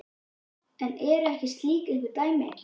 En eru um slíkt einhver dæmi?